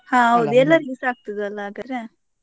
ಹಾ ಹೌದು, ಎಲ್ಲರಿಗೆಸ ಆಗ್ತದೆ ಅಲ್ಲ ಹಾಗಾದ್ರೆ?